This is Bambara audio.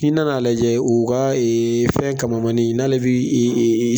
N'i nana a lajɛ u ka fɛn kamamanin in n'ale bi